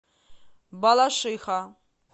балашиха